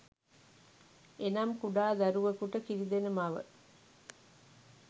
එනම් කුඩා දරුවකුට කිරිදෙන මව